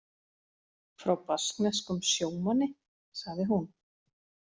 Frá baskneskum sjómanni, sagði hún.